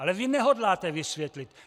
Ale vy nehodláte vysvětlit!